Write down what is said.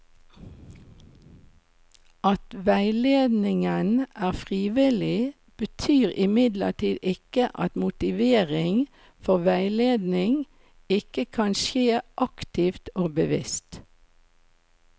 At veiledningen er frivillig, betyr imidlertid ikke at motivering for veiledning ikke kan skje aktivt og bevisst.